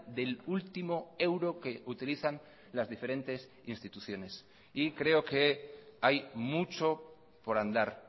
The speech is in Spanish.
del último euro que utilizan las diferentes instituciones y creo que hay mucho por andar